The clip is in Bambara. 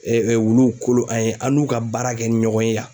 wuluw kolo an n'u ka baara kɛ ni ɲɔgɔn ye yan.